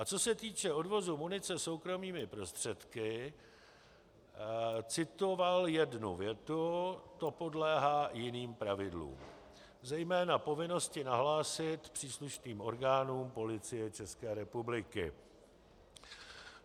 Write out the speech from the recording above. A co se týče odvozu munice soukromými prostředky, citoval jednu větu: To podléhá jiným pravidlům, zejména povinnosti nahlásit příslušným orgánům Policie České republiky.